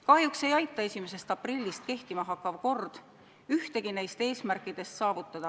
Kahjuks ei aita 1. aprillil kehtima hakkav kord ühtegi neist eesmärkidest saavutada.